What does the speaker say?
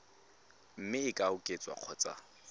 mme e ka oketswa kgotsa